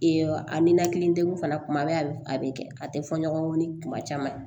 a ninakili degun fana kuma bɛ a bɛ a bɛ kɛ a tɛ fɔ ɲɔgɔn kɔ ni kuma caman